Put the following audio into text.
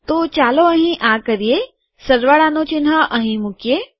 તો ચાલો અહીં આ કરીએ સરવાળાનું ચિહ્ન અહીં મુકીએ